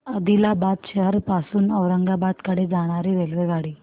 आदिलाबाद शहर पासून औरंगाबाद कडे जाणारी रेल्वेगाडी